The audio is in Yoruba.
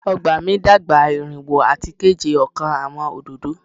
Ọgba mi dagba irinwo ati keje ọkan Awọn ododo